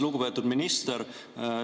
Lugupeetud minister!